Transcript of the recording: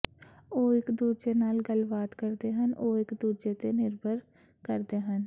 ਉਹ ਇਕ ਦੂਜੇ ਨਾਲ ਗੱਲਬਾਤ ਕਰਦੇ ਹਨ ਉਹ ਇਕ ਦੂਜੇ ਤੇ ਨਿਰਭਰ ਕਰਦੇ ਹਨ